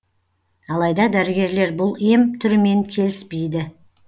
алайда дәрігерлер бұл ем түрімен келіспейді